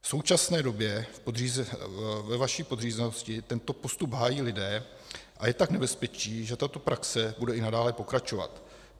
V současné době ve vaší podřízenosti tento postup hájí lidé, a je tak nebezpečí, že tato praxe bude i nadále pokračovat.